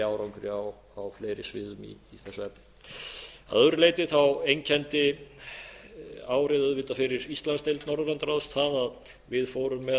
árangri á fleiri sviðum í þessu efni að öðru leyti einkenndi árið auðvitað fyrir íslandsdeild norðurlandaráðs það að við fórum með